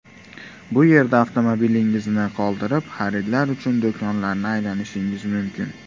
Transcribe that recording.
Bu yerda avtomobilingizni qoldirib xaridlar uchun do‘konlarni aylanishingiz mumkin.